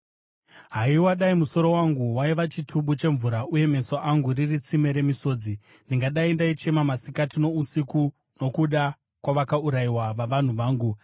Haiwa, dai musoro wangu waiva chitubu chemvura uye meso angu riri tsime remisodzi! Ndingadai ndaichema masikati nousiku nokuda kwavakaurayiwa vavanhu vangu.